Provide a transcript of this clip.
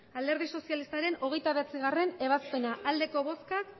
alderdi sozialistaren hogeita bederatzigarrena ebazpena emandako botoak